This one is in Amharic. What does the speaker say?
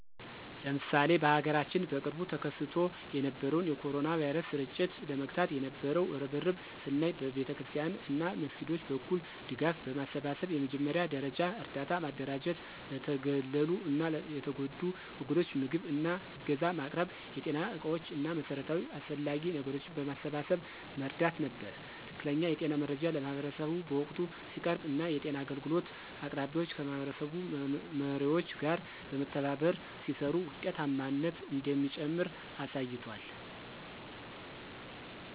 ለምሳሌ በሀገራችን በቅርቡ ተከስቶ የነበረውን የ ኮሮና ቫይረስ ስርጭት ለመግታት የነበው እርብርብን ስናይ በቤተክርስቲያናት እና መስጊዶች በኩል ድጋፍ በማሰባሰብ የመጀመሪያ ደረጃ እርዳታ ማደራጀት ለተገለሉ እና የተጎዱ ወገኖች ምግብ እና ዕገዛ ማቅረብ የጤና ዕቃዎች እና መሠረታዊ አስፈላጊ ነገሮችን በማሰባሰብ መርዳት ነበር። ትክክለኛ የጤና መረጃ ለማህበረሰቡ በወቅቱ ሲቀርብ እና የጤና አገልግሎት አቅራቢዎች ከማህበረሰብ መሪዎች ጋር በመተባበር ሲሰሩ ውጤታማነት እንደሚጨምር አሳይቷል።